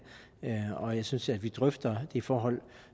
og jeg synes at vi drøfter de forhold